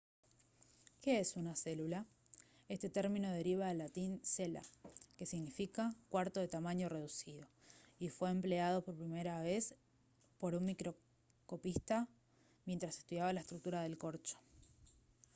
¿qué es una célula? este término deriva del latín cella que significa «cuarto de tamaño reducido» y fue empleado por primera vez por un microscopista mientras estudiaba la estructura del corcho